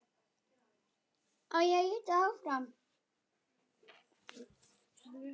Sem var gott.